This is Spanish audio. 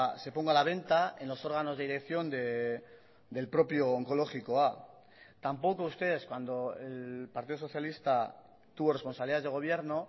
se ponga a la venta en los órganos de dirección del propio onkologikoa tampoco ustedes cuando el partido socialista tuvo responsabilidades de gobierno